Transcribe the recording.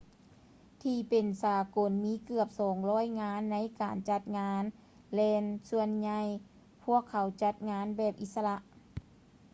ທີ່ເປັນສາກົນມີເກືອບ 200 ງານໃນການຈັດງານແລ່ນ ສ່ວນໃຫຍ່ພວກເຂົາຈັດງານແບບອິດສະຫຼະ